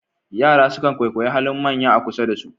Yara sukan kwaikwayi halin manya a kusa da su.